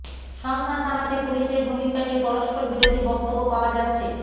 সংঘাত থামাতে পুলিশের ভূমিকা নিয়ে পরস্পরবিরোধী বক্তব্য পাওয়া যাচ্ছে